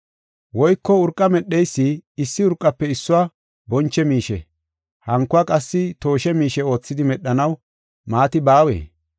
Woyko urqa medheysi issi urqafe issuwa boncho miishe, hankuwa qassi tooshe miishe oothidi medhanaw maati baawee?